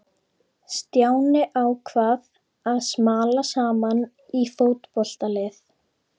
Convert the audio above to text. Stjáni ákvað að smala saman í fótboltalið.